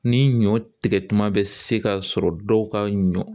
Ni ɲɔ tigɛtuma bɛ se k'a sɔrɔ dɔw ka ɲɔ